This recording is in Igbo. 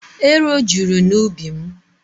Ero juru n'ubi mụ.